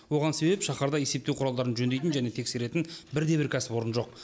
оған себеп шаһарда есептеу құралдарын жөндейтін және тексеретін бірде бір кәсіпорын жоқ